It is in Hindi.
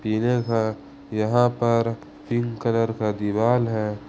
इधर है यहां पर पिंक कलर का दीवार है।